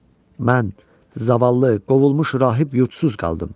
Mən zavallı, qovulmuş rahib yurdsuz qaldım.